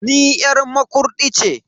Ni yar Makurdi ce.